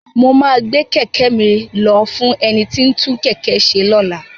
Mo máa gbé kẹ̀kẹ́ mi lọ fún ẹni tí ń tún kẹ̀kẹ́ ṣe lọ́la.